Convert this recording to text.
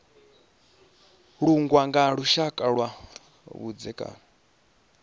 langwa nga lushaka lwa vhudzekani